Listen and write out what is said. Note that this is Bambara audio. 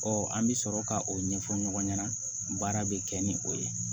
an bɛ sɔrɔ ka o ɲɛfɔ ɲɔgɔn ɲɛna baara bɛ kɛ ni o ye